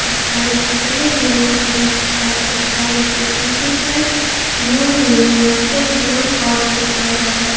इस गाड़ी का कलर येलो कलर का है इस गाड़ी के पीछे side new universal blow horn लिखा हुआ है।